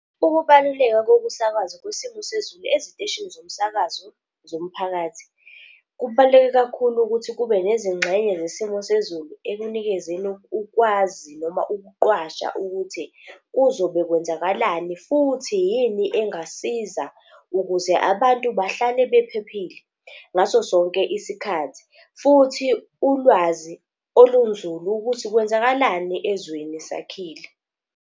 Ukubaluleka kokusakazwa kwesimo sezulu eziteshini zomsakazo zomphakathi, kubaluleke kakhulu ukuthi kube nezingxenye zesimo sezulu ekunikezeni ukwazi noma ukuqwasha ukuthi kuzobe kwenzakalani, futhi yini engasiza ukuze abantu bahlale bephephile ngaso sonke isikhathi. Futhi ulwazi olunzulu ukuthi kwenzakalani ezweni sakhile.